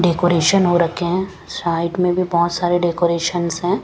Decoration हो रखे हैं साइड में भी बहुत सारे डेकोरेशंस हैं।